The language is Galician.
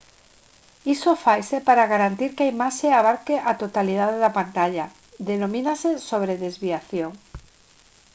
isto faise para garantir que a imaxe abarque a totalidade da pantalla denomínase sobredesviación